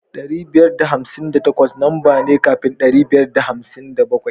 Dari biyar da hamsin da takwas lamba ne kafin ɗari biyar da hamsin da bakwai.